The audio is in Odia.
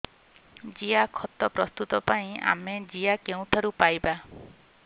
ଜିଆଖତ ପ୍ରସ୍ତୁତ ପାଇଁ ଆମେ ଜିଆ କେଉଁଠାରୁ ପାଈବା